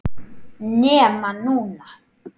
NEMA NÚNA!!!